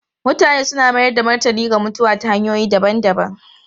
Mutane suna mayar da martani ga mutuwa ta hanyoyi daban-daban.